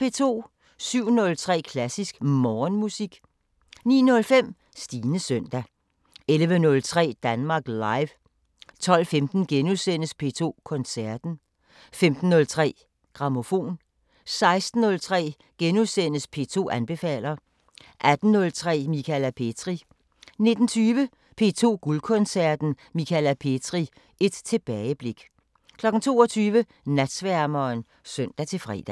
07:03: Klassisk Morgenmusik 09:05: Stines søndag 11:03: Danmark Live 12:15: P2 Koncerten * 15:03: Grammofon 16:03: P2 anbefaler * 18:03: Michala Petri 19:20: P2 Guldkoncerten: Michala Petri – et tilbageblik 22:00: Natsværmeren (søn-fre)